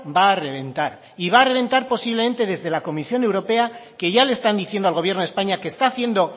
va a reventar y va a reventar posiblemente desde la comisión europea que ya le están diciendo al gobierno de españa que está haciendo